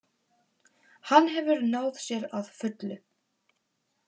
Hann hefur náð sér að fullu